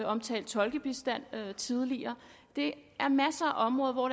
omtalt tolkebistand tidligere det er en masse områder hvor